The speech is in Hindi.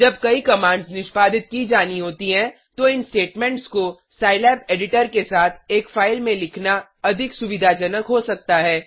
जब कई कमांड्स निष्पादित की जानी होती हैं तो इन स्टेटमेंट्स को सिलाब एडिटर के साथ एक फाइल में लिखना अधिक सुविधाजनक हो सकता है